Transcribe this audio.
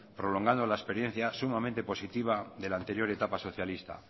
prolongando la experiencia sumamente positiva de la anterior etapa socialista